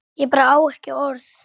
Ég bara á ekki orð.